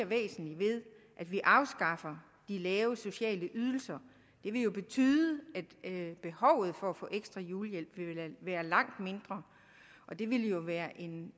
væsentligt ved at vi afskaffer de lave sociale ydelser det vil jo betyde at behovet for at få ekstra julehjælp vil være langt mindre det ville jo være en